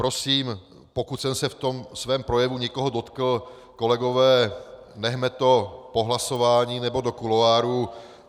Prosím, pokud jsem se v tom svém projevu někoho dotkl, kolegové, nechme to po hlasování nebo do kuloárů.